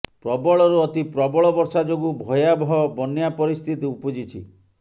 ପ୍ରବଳରୁ ଅତି ପ୍ରବଳ ବର୍ଷା ଯୋଗୁ ଭୟାବହ ବନ୍ୟା ପରିସ୍ଥିତି ଉପୁଜିଛି